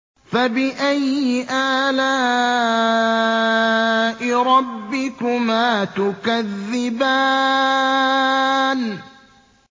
فَبِأَيِّ آلَاءِ رَبِّكُمَا تُكَذِّبَانِ